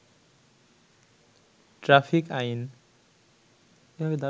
traffic আইন